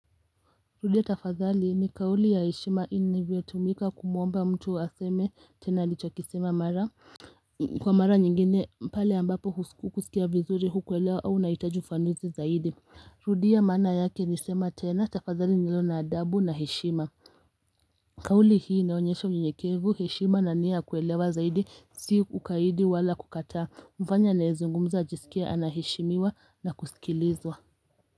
Rudia tafadhali ni kauli ya heshima inavyotumika kumwomba mtu aseme tena alichokisema mara kwa mara nyingine pale ambapo hukusikia vizuri hukuelewa au unahitaji ufafanuzi zaidi rudia maana yake ni sema tena tafadhali ni neno la adabu na heshima kauli hii inaonyesha unyenyekevu heshima na nia ya kuelewa zaidi si ukaidi wala kukataa humfanya anayezungumza ajisikie anaheshimiwa na kusikilizwa.